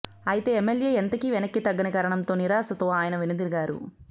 అయితే ఎమ్మెల్యే ఎంతకీ వెనక్కి తగ్గని కారణంతో నిరాశతో ఆయన వెనుదిరిగారు